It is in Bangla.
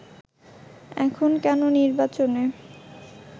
এখন কেন নির্বাচনে